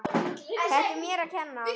Þetta er mér að kenna.